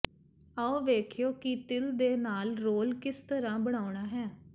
ਆਓ ਵੇਖੀਏ ਕਿ ਤਿਲ ਦੇ ਨਾਲ ਰੋਲ ਕਿਸ ਤਰ੍ਹਾਂ ਬਣਾਉਣਾ ਹੈ